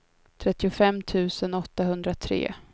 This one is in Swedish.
trettiofem tusen åttahundratre